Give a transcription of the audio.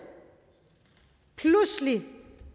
pludselig